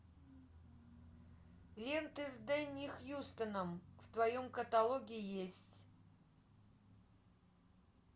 ленты с дэнни хьюстоном в твоем каталоге есть